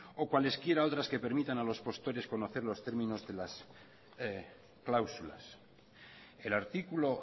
o cualesquiera otras que permitan a los postores conocer los términos que las cláusulas el artículo